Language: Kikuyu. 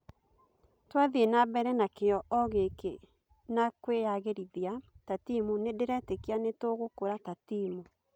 Twathiĩ na mbere na kĩ o gĩ kĩ na kwĩ yagĩ rĩ rithia ta timu nĩ ndĩ retíkia nĩ tũgûkũra ta timu.